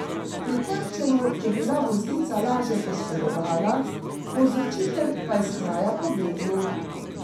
Pri trčenju je bila voznica lažje poškodovana, povzročitelj pa je s kraja pobegnil.